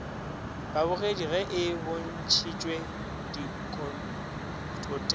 babogedi ge e bontšhitšwe dikoteng